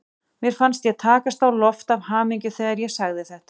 Mér fannst ég takast á loft af hamingju þegar ég sagði þetta.